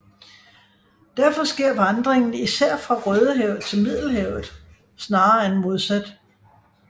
Derfor sker vandringen især fra Rødehavet til Middelhavet snarere end modsat